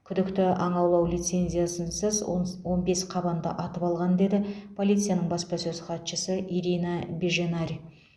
күдікті аң аулау лицензиясынсыз онс он бес қабанды атып алған деді полицияның баспасөз хатшысы ирина беженарь